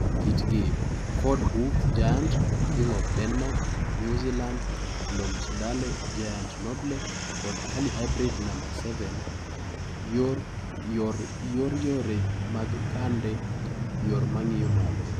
Kitgi: Ford Hook Giant, King of Denmark, New Zealand, Bloomsdale, Giant Noble kod Early Hybrid No. 7. YOR YORE MAG KANDE Yore mag ng'iyo malo